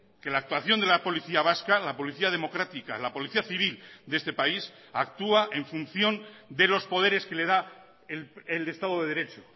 que la actuación de la policía vasca la policía democrática la policía civil de este país actúa en función de los poderes que le da el estado de derecho